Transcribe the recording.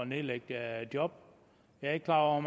nedlæggelse af job jeg er ikke klar over